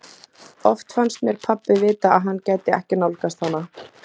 Oft fannst mér pabbi vita að hann gæti ekki nálgast hana.